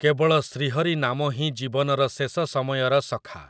କେବଳ ଶ୍ରୀହରି ନାମ ହିଁ ଜୀବନର ଶେଷ ସମୟର ସଖା ।